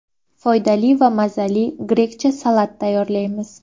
Foydali va mazali grekcha salat tayyorlaymiz.